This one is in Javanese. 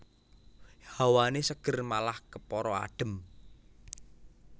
Hawané seger malah kepara adhem